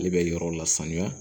Ale bɛ yɔrɔ la sanuya